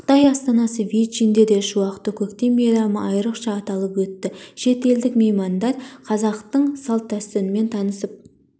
қытай астанасы бейжіңде де шуақты көктем мейрамы айрықша аталып өтті шет елдік меймандар қазақтың салт-дәстүрімен танысып